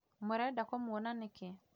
Mũrenda kĩmwona nĩkĩ?